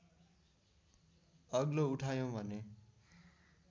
अग्लो उठायौँ भने